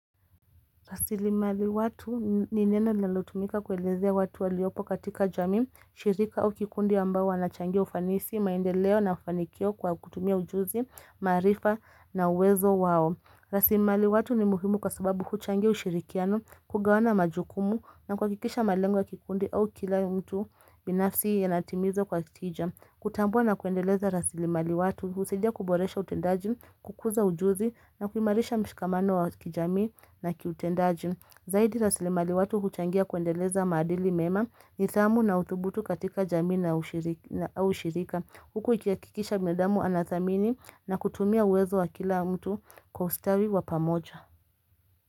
Rasili mali watu ni neno linalotumika kuelezea watu waliopo katika jami, shirika au kikundi ambao wanachangia ufanisi, maendeleo na ufanikio kwa kutumia ujuzi, maarifa na uwezo wao. Rasili mali watu ni muhimu kwa sababu huchangia ushirikiano, kugawana majukumu na kuhakikisha malengu wa kikundi au kila mtu binafsi yanatimiza kwa tija. Kutambua na kuendeleza rasili mali watu, usidia kuboresha utendajin, kukuza ujuzi na kumarisha mshikamano wa kijami na kiutendaji Zaidi rasili mali watu huchangia kuendeleza madili mema, nithamu na utubutu katika jami na ushirika Huku ukihakikisha binadamu anathamini na kutumia uwezo wa kila mtu kustawi wapamoja.